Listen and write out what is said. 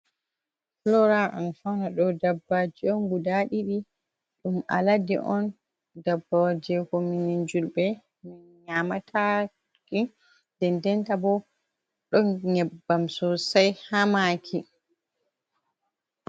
Flora an fauna ɗo dabbaji on guda ɗiɗi ɗum alade on, daɓbaji on ko minin julɓe min nyamatake dendenta bo ɗon nyebbam sosai ha maki.